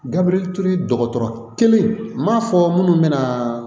Gabriel ture dɔgɔtɔrɔ kelen n m'a fɔ minnu bɛna